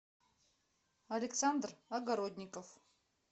александр огородников